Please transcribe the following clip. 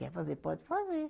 Quer fazer, pode fazer.